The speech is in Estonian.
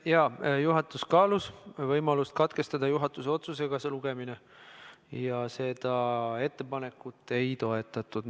Jaa, juhatus kaalus võimalust see lugemine juhatuse otsusega katkestada, aga seda ettepanekut ei toetatud.